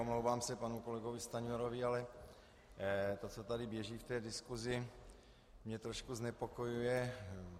Omlouvám se panu kolegovi Stanjurovi, ale to, co tady běží v té diskusi, mě trošku znepokojuje.